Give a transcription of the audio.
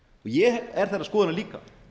ég er þeirrar skoðunar líka